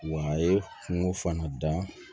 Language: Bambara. Wa a ye kungo fana da